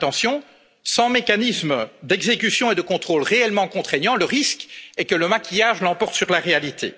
Mais attention, sans mécanismes d'exécution et de contrôle véritablement contraignants, le risque est que le maquillage l'emporte sur la réalité.